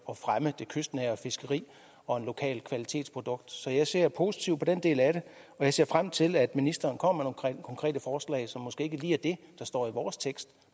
at fremme det kystnære fiskeri og et lokalt kvalitetsprodukt så jeg ser positivt på den del af det og jeg ser frem til at ministeren kommer konkrete forslag som måske ikke lige er det der står i vores tekst